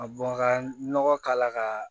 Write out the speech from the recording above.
Ka bɔn ka nɔgɔ k'a la ka